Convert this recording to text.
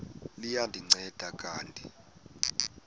liya ndinceda kanti